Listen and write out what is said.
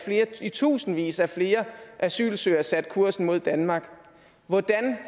i tusindvis af flere asylsøgere satte kursen mod danmark hvordan